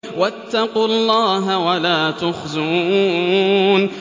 وَاتَّقُوا اللَّهَ وَلَا تُخْزُونِ